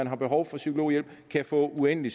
har behov for psykologhjælp kan få uendelig